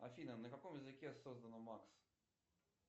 афина на каком языке создано макс